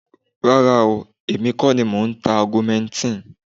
Rárá o, èmi kọ́ ni mò ń ta augmentin.